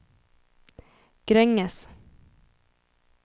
Gränges